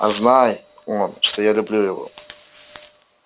а знай он что я люблю его